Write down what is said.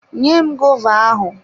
Nyem gova ahụ!